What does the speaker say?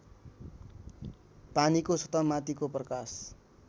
पानीको सतहमाथिको प्रकाश